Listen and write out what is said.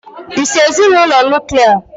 Ị́si n'ezinụlọ Nuklià?